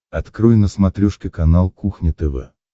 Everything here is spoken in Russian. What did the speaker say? открой на смотрешке канал кухня тв